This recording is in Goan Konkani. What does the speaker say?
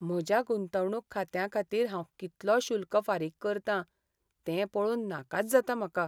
म्हज्या गुंतवणूक खात्यांखातीर हांव कितलो शुल्क फारीक करतां तें पळोवन नाकाच जाता म्हाका.